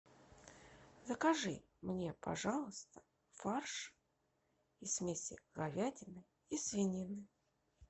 закажи мне пожалуйста фарш из смеси говядины и свинины